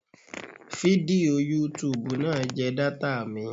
Fídíò yútubù náà jẹ data mi.